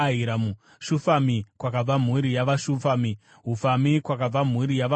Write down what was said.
Shufami, kwakabva mhuri yavaShufami; Hufami, kwakabva mhuri yavaHufami.